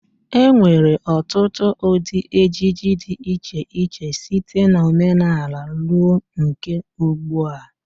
E nwere ọtụtụ ụdị ejiji dị iche iche, site na omenala ruo nke ugdbua.